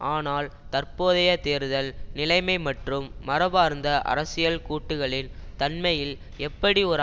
ஆனால் தற்போதைய தேர்தல் நிலைமை மற்றும் மரபார்ந்த அரசியல் கூட்டுக்களின் தன்மையில் எப்படி ஒரு